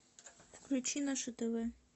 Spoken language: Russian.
включи наше тв